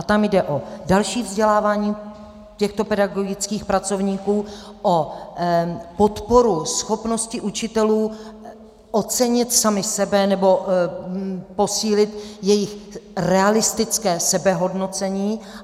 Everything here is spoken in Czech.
A tam jde o další vzdělávání těchto pedagogických pracovníků, o podporu schopnosti učitelů ocenit sami sebe, nebo posílit jejich realistické sebehodnocení.